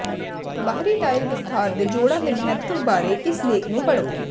ਬਾਹਰੀ ਟਾਇਲ ਵਿਸਥਾਰ ਦੇ ਜੋੜਾਂ ਦੇ ਮਹੱਤਵ ਬਾਰੇ ਇਸ ਲੇਖ ਨੂੰ ਪੜ੍ਹੋ